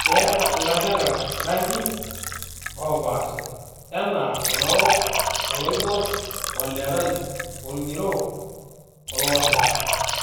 Keata ilanterera irankin oo pasha enaa olorok, oloibor, olerai, orng'iro, oloosira.